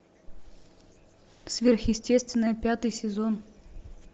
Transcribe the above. сверхъестественное пятый сезон